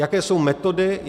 Jaké jsou metody?